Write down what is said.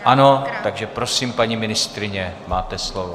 Ano, takže prosím, paní ministryně, máte slovo.